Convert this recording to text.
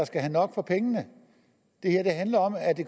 skal have nok for pengene det her handler om at det